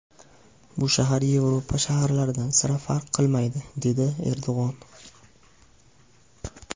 Bu shahar Yevropa shaharlaridan sira farq qilmaydi”, dedi Erdo‘g‘on.